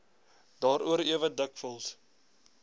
daaroor ewe dikwels